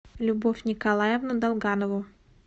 любовь николаевну долганову